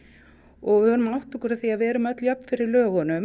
og við verðum að átta okkur því að við erum öll jöfn fyrir lögum